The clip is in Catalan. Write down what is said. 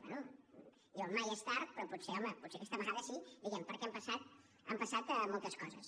bé diuen mai és tard però potser home potser aquesta vegada sí diguem ne perquè han passat moltes coses